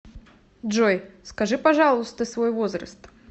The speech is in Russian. джой скажи пожалуйста свой возраст